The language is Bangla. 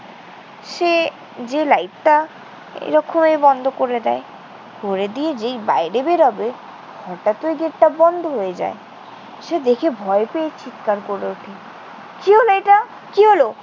সে যেয়ে লাইটটা এ রকমের বন্ধ করে দেয়। করে দিয়ে যেই বাইরে বের হবে হঠাৎ ওই gate টা বন্ধ হয়ে যায়। সে দেখে ভয় পেয়ে চিৎকার করে ওঠে। কি হলো এটা? কি হলো?